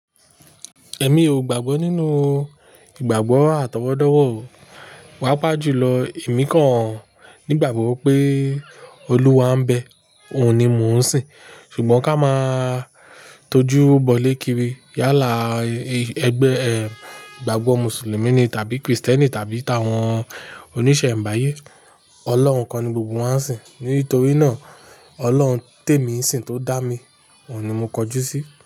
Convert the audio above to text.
Ẹ̀mí ò gbàgbọ́ nínú ìgbàgbọ́ àtọwọ́dọ́wọ́ o, paápàa jùlọ èmi kan nígbàgbọ́ pé Olúwa ń bẹ, òun ni mò ń sìn. Ṣùgbọ́n ká máa tó jú bọ̀lé kiri yálà ẹgbẹ́ ẹ, ìgbàgbọ́ Mùsùlùmí ni tàbí Krìstẹ́nì tàbí tàwọn oníṣẹ̀ńbáyé. Ọlọ́run kan ni gbogbo wá ń sìn. Nítorí náà, Ọlọ́run tèmi n sìn tó dá mi, òun ni mo kọjú sí.